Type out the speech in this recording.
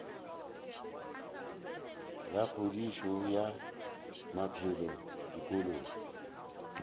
la kgodišo ya maphelo dikolong